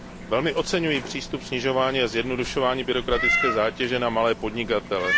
Velmi oceňuji přístup snižování a zjednodušování byrokratické zátěže na malé podnikatele.